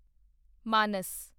ਮਾਨਸ